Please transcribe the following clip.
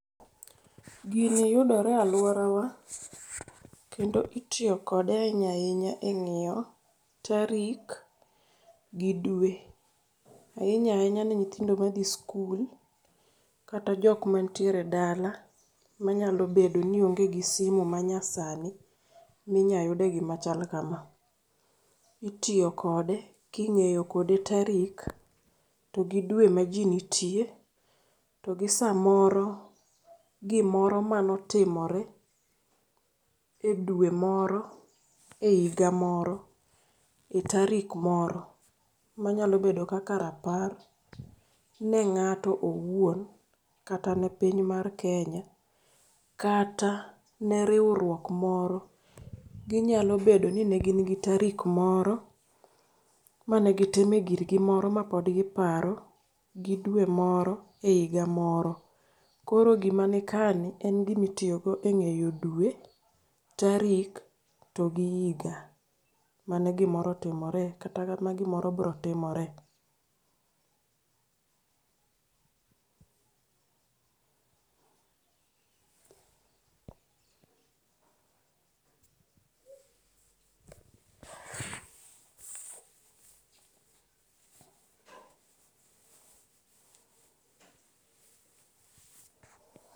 Gini yudore e aluorawa kendo itiyo kode ainya ainya eng'iyo tarik gi dwe. Ainya ainya ne nyithindo madhi skul kata jok mantiere dala manyalo bedo ni onge gi simu manyasani minya yude gima chal kama. Itiyo kode king'eyo kode tarik to gi dwe maji nitie to gi samoro gimoro manotimore edwe moro e iga moro e tarik moro manyalo bedo kaka rapar ne ng'ato owuon, kata ne piny mar Kenya kata ne riwruok moro. Ginyalo bedoni ne gin gi tarik moro mane gitimo e girgi moro mapod giparo gi dwe moro e iga moro. Koro gima nikaeni en gima itiyogo e ng'iyo dwe tarik to gi iga mane gimoro otimore kata ma gimoro biro timore.